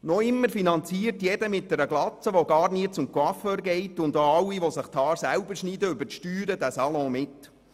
Noch immer finanziert jeder, der eine Glatze hat und nie zum Coiffeur geht, und auch alle, die sich die Haare selber schneiden, diesen Salon über die Steuern mit.